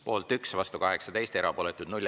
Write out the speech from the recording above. Poolt 1, vastu 18, erapooletuid 0.